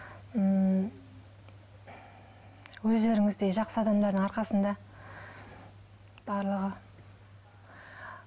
ммм өздеріңіздей жақсы адамдардың арқасында барлығы